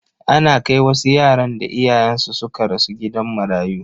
Ana kai wasu yaran da iyayensu suka rasu gidan marayu.